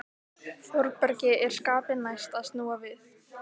Þórbergi er skapi næst að snúa við.